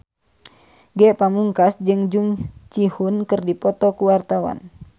Ge Pamungkas jeung Jung Ji Hoon keur dipoto ku wartawan